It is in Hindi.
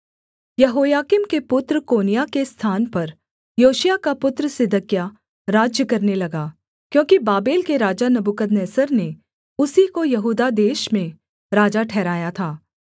यहोयाकीम के पुत्र कोन्याह के स्थान पर योशिय्याह का पुत्र सिदकिय्याह राज्य करने लगा क्योंकि बाबेल के राजा नबूकदनेस्सर ने उसी को यहूदा देश में राजा ठहराया था